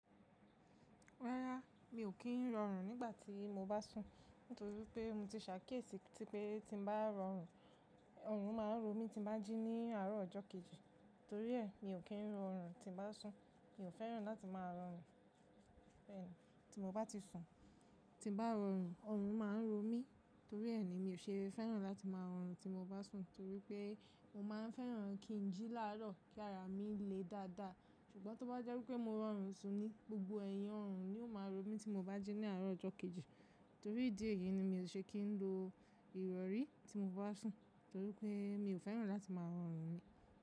Rárá, mi ò kí ń rọrùn nígbà tí mo bá sùn, nítorí wipé mo ti ṣàkíyèsí tí pé tí mo bá rọrùn, ọrùn má a ń ro mí tí mo bá jí ní àárọ̀ ọjọ́ kejì. Torí ẹ, mi ò kí ń rọrùn tí mo bá sùn. Mi ò fẹ́ràn láti má a rọrùn bẹ́ẹ̀ni tí mo bá ti sùn. Tí bá rọrùn, ọrùn má a ń ro mí. Torí ẹ ni mi ò ṣe fẹ́ràn láti má a rọrùn tí mo bá sùn, torí pé mo má a fẹ́ràn kí ń jí lárò kí ara mi le dáadáa. Ṣùgbọ́n tó bá jẹ́ pé mo rọrùn sun ni, gbogbo ẹ̀yìn ọrùn ni yóò má a ro mí tí mo bá jí ní àárọ̀ ọjọ́ kejì. Torí ìdí èyí ni mi ò ṣe kí ń lo ìrọrí tí mo bá sùn, torí pé mi ò fẹ́ràn láti má a rọrùn mí.